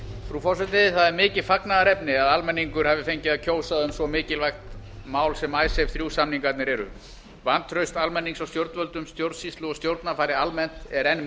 frú forseti það er mikið fagnaðarefni að almenningur hafi fengið að kjósa um svo mikilvægt mál sem icesave þrjú samningarnir eru vantraust almennings á stjórnvöldum stjórnsýslu og stjórnarfari almennt er enn